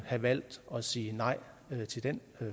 have valgt at sige nej til den